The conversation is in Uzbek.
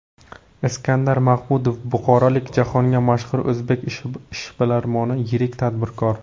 Iskandar Mahmudov buxorolik jahonga mashhur o‘zbek ishbilarmoni, yirik tadbirkor.